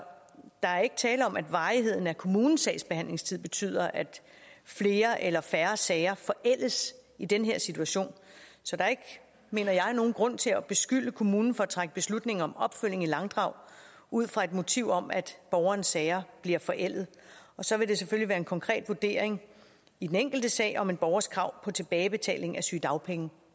der er ikke tale om at varigheden af kommunens sagsbehandlingstid betyder at flere eller færre sager forældes i den her situation så der er ikke mener jeg nogen grund til at beskylde kommunen for at trække beslutningen om opfølgning i langdrag ud fra et motiv om at borgerens sager bliver forældet så vil det selvfølgelig være en konkret vurdering i den enkelte sag om en borgers krav på tilbagebetaling af sygedagpenge